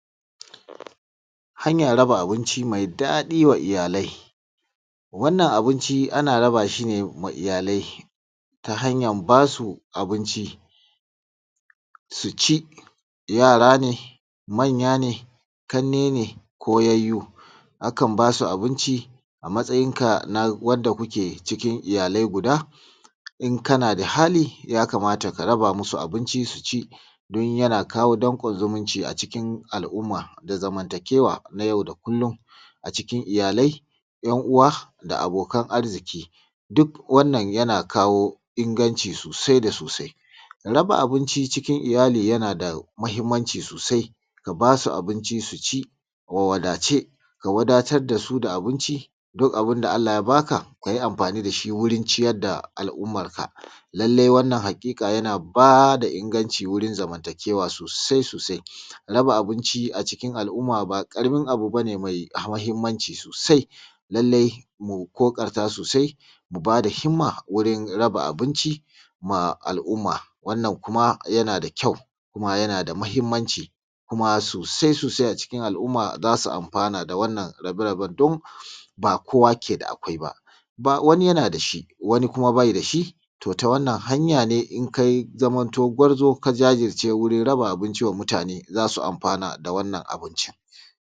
hanyar raba abinci mai daɗi wa iyalai wannan abinci ana raba shi ma iyalai ta hanyar basu abinci su ci yara ne manya ne ƙannai ne ko yayyu akan basu abinci a matsayin ka na wanda kuke cikin iyalai guda in kana da hali ya kamata ka raba musu abinci su ci don yana kawo danƙon zumunci a cikin al’umma da zamantakewa na yau da kullum a cikin iyalai yan uwa da abokan arziki duk wannan yana kawo inganci sosai da sosai raba abinci cikin iyali yana da muhimmanci sosai ka basu abinci su ci a wadace ka wadatar dasu da abinci duk abun da allah ya baka kayi amfani da shi wurin ciyar da al’ummar sa lallai wannan haƙiƙa yana bada inganci wurin zamantakewa sosai sosai raba abinci a cikin al’umma ba ƙaramin abu bane mai muhimmanci sosai lallai mu ƙoƙarta sosai mu bada himma wurin raba abinci ma al’umma wannan kuma yana da kyau kuma yana da muhimmanci kuma sosai sosai a cikin al’umma zasu amfana da wannan rabe-raben don ba kowa ke da akwai ba wani yana da shi wani kuma bai da shi to ta wannan hanya ne in ka zaman to gwarzo ka jajirce wajen raba abinci wa mutane zaɸsu amfana da wannan abincin